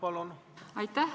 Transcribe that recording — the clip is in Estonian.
Aitäh!